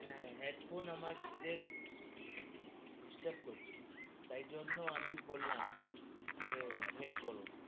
হে! এখন আমাদের disturb করছো, তাই জন্য় আমি বললাম যে wait করো,